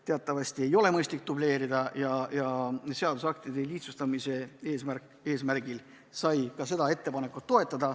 Teatavasti ei ole mõistlik dubleerida ja seadusaktide lihtsustamise eesmärgil sai seda ettepanekut toetatud.